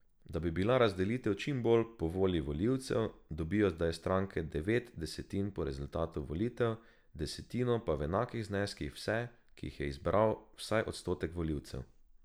Da bi bila razdelitev čim bolj po volji volivcev, dobijo zdaj stranke devet desetin po rezultatu volitev, desetino pa v enakih zneskih vse, ki jih je izbral vsaj odstotek volivcev.